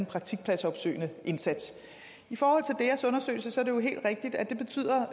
praktikpladsopsøgende indsats i forhold til deas undersøgelse er det jo helt rigtigt at det betyder